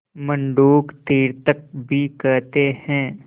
मंडूक तीर्थक भी कहते हैं